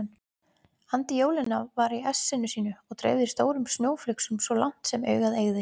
Andi jólanna var í essinu sínu og dreifði stórum snjóflygsum svo langt sem augað eygði.